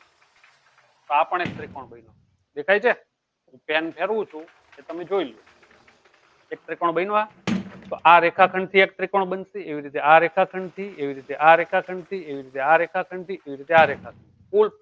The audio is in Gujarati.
તો આ પણ એક ત્રિકોણ બન્યો દેખાય છે pen ફેરવું છું તે ત્યામે જોઈ લો એક ત્રિકોણ બન્યો આ તો આ રેખાખંડ થી આ એક ત્રિકોણ બનશે એવી રીતે આ રેખાખંડ થી એવી રીતે આ રેખાખંડ થી એવી રીતે આ રેખાખંડ થી એવી રીતે આ રેખાખંડ થી.